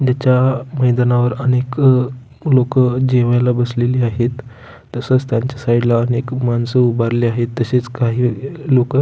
ज्याच्या मैदानावर अनेक अ लोक अ जेवायला बसलेली आहेत तसच त्यांच्या साईड अनेक माणस उभरले आहेत तसेच काही लोक --